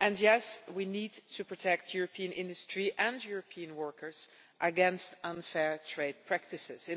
and yes, we need to protect European industry and European workers against unfair trade practices.